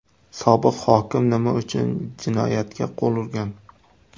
Sobiq hokim nima uchun jinoyatga qo‘l urgan?